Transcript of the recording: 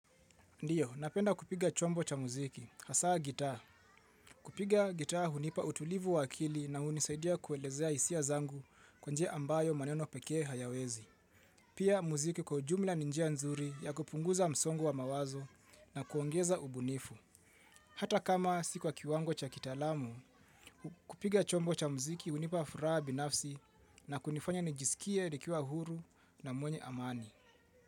Ndiyo, napenda kupiga chombo cha muziki, hasa gitaa. Kupiga gitaa hunipa utulivu wa akili na hunisaidia kuelezea hisia zangu kwa njia ambayo maneno pekee hayawezi. Pia muziki kwa ujumla ni njia nzuri ya kupunguza msongo wa mawazo na kuongeza ubunifu. Hata kama si kwa kiwango cha kitaalamu, kupiga chombo cha muziki hunipa furaha binafsi na kunifanya nijisikie nikiwa huru na mwenye amani.